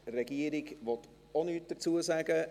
Die Regierung möchte auch nichts dazu sagen.